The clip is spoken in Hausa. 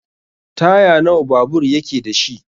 Taya nawa babur yake dashi?